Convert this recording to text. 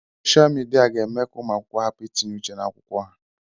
Soshia Midia ga-eme ka ụmụ akwụkwọ hapụ itinye uche n'akwụkwọ ha.